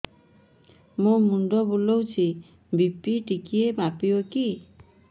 ମୋ ମୁଣ୍ଡ ବୁଲାଉଛି ବି.ପି ଟିକିଏ ମାପିବ କି